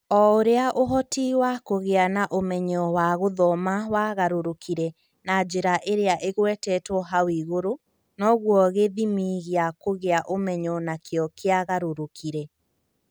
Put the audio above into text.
O ũrĩa ũhoti wa kũgĩa na ũmenyo wa gũthoma wagarũrũkire na njĩra ĩrĩa ĩgwetetwo hau igũrũ, noguo gĩthimi gĩa kũgĩa ũmenyo nakĩo kia garũrũkire.